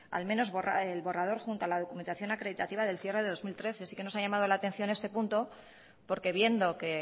al menos el borrador junto a la documentación acreditativa del cierre del dos mil trece sí que nos ha llamado la atención este punto porque viendo que